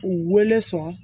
U wele sɔn